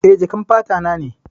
Eh, jakan fata na ne.